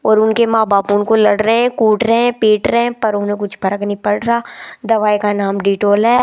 और उनके माँ बाप उनको लड़ रहे कूट रहे पीट रहे पर उन्हें कुछ फर्क नहीं पड़ रहा दवाई का नाम डिटोल है।